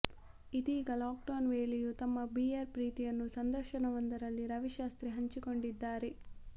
ಇದೀಗ lockdown ವೇಳೆಯೂ ತಮ್ಮ ಬಿಯರ್ ಪ್ರೀತಿಯನ್ನು ಸಂದರ್ಶನವೊಂದರಲ್ಲಿ ರವಿಶಾಸ್ತ್ರಿ ಹಂಚಿಕೊಂಡಿದ್ದಾರೆ